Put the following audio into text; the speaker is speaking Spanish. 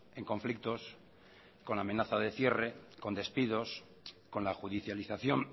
en conflictos con amenaza de cierre con despidos con la judicialización